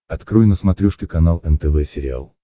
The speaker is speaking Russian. открой на смотрешке канал нтв сериал